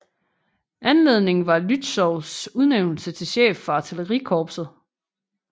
Anledningen var Lützows udnævnelse til chef for Artillerikorpset